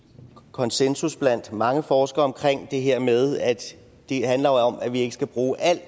konsensus blandt mange forskere om det her med at det handler om at vi ikke skal bruge al